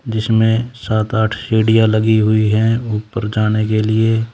जिसमें सात आठ सिड़िया लगी हुई है ऊपर जाने के लिए।